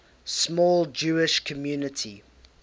small jewish community